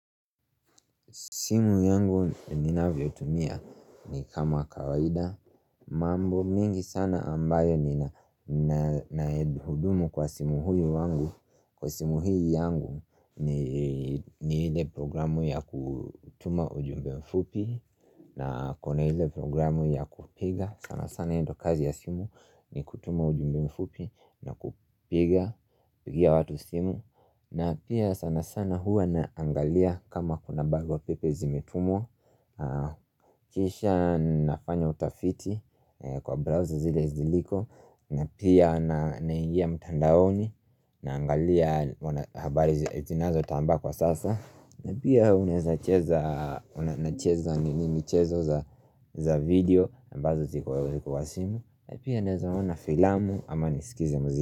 Simu yangu ninavyotumia ni kama kawaida mambo mengi sana ambayo nina na hudumu kwa simu huyu wangu Kwa simu hii yangu ni ile programu ya kutuma ujumbe mfupi na kona hile programu ya kupiga sana sana hii ndio kazi ya simu ni kutuma ujumbe mfupi na kupiga Pugia watu simu na pia sana sana Huwa naangalia kama kuna barua pepe zimetumwa Kisha nafanya utafiti kwa browser zile ziliko na pia naingia mtandaoni Naangalia habari zinazotambaa kwa sasa na pia uneza cheza nini chezo za video ambazo ziko wa simu na pia unezaona filamu ama nisikize mziki.